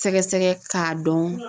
Sɛgɛsɛgɛ k'a dɔn